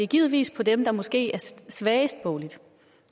givetvis for dem der måske er boglig svagest og